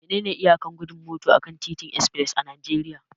Menene iyakar gudun mota akan titin express a Najeriya?